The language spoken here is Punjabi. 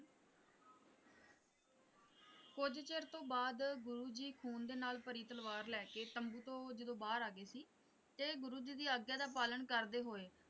ਕੁੱਝ ਚਿਰ ਤੋਂ ਬਾਅਦ ਗੁਰੂ ਜੀ ਖੂਨ ਦੇ ਨਾਲ ਭਰੀ ਤਲਵਾਰ ਲੈ ਕੇ ਤੰਬੂ ਤੋਂ ਜਦੋਂ ਬਾਹਰ ਆ ਗਏ ਸੀ ਤੇ ਗੁਰੂ ਜੀ ਦੀ ਆਗਿਆ ਦਾ ਪਾਲਣ ਕਰਦੇ ਹੋਏ।